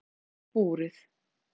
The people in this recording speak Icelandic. Ægir: Hvað kostar búrið?